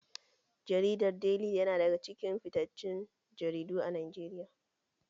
Jaridar deli yana ɗaya daga cikin fittacen jaridu a Najeriya